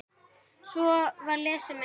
Svo var lesið meira.